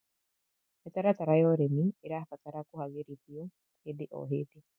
Mĩtaratara ya ũrĩmĩ ĩrabatara kũagĩrĩthĩo hĩndĩ o hĩndĩ